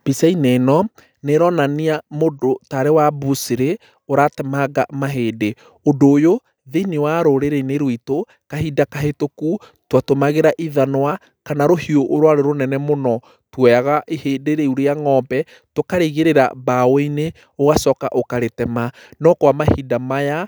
Mbica-inĩ ĩno nĩ ĩronania mũndũ tarĩ wa bucĩrĩ ũratemanga mahĩndĩ, ũndũ ũyũ thĩinĩe wa rũrĩrĩ-inĩ rwitũ kahinda kahĩtũku twatũmagĩra ithanũa kana rũhiũ rwarĩ rũnene mũno twoyaga ihĩndĩ rĩu rĩa ng'ombe tũkarĩigĩrĩra mbaũ-inĩ ũgacoka ũkarĩtema no kwa mahinda maya